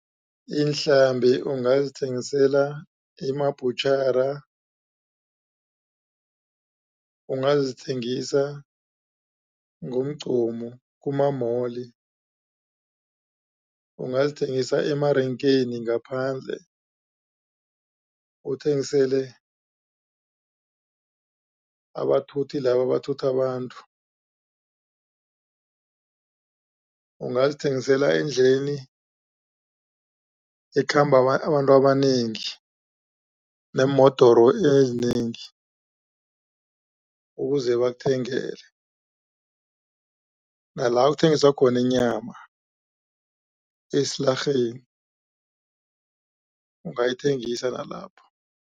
Iinhlambi ungazithengisela ema-butchery ungazithengisa ngomgqomu kuma-mall ungazithengisa emarenkeni ngaphandle uthengisele abathuthi laba abathutha abantu, ungazithengisela endleleni ekhamba abantu abanengi neemodoro ezinengi ukuze bakuthengele nala kuthengiswa khona inyama esilarheni ungayithengisa nalapho.